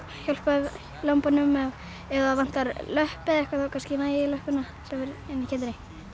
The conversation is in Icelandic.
hjálpa ég lömbunum ef vantar löpp eða eitthvað þá kannski næ ég í löppina sem er inni í kindinni